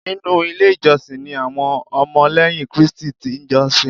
Nínú ilé ìjọsìn ni àwọn Ọmọlẹ́yìn Krístì ti n jọ́sìn